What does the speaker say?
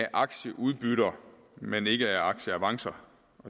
aktieudbytter men ikke af aktieavancer